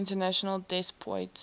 international des poids